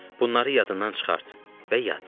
Bunları yadından çıxart və yat.